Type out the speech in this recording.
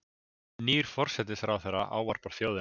Nýr forsætisráðherra ávarpar þjóðina